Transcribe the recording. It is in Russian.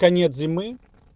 конец зимы